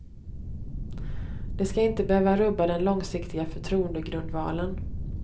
Det ska inte behöva rubba den långsiktiga förtroendegrundvalen.